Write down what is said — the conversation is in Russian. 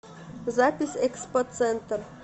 запись экспоцентр